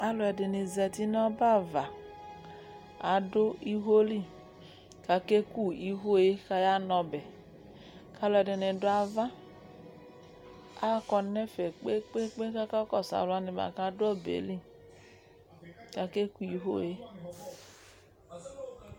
alò ɛdini zati n'ɔbɛ ava adu iwo li k'ake ku iwo yɛ k'aya n'ɔbɛ k'alò ɛdini do ava akɔ n'ɛfɛ kpe kpe kpe k'aka kɔsu alò wani boa k'adu ɔbɛ yɛ li k'ake ku iwo yɛ